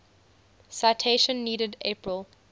citation needed april